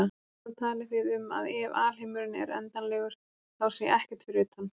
Þarna talið þið um að EF alheimurinn er endanlegur þá sé EKKERT fyrir utan.